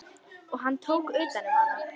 Og hann tók utan um hana.